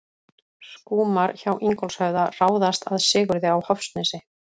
Skúmar hjá Ingólfshöfða ráðast að Sigurði á Hofsnesi.